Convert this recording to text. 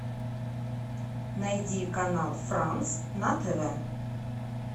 найди канал франс на тв